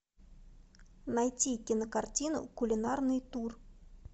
найти кинокартину кулинарный тур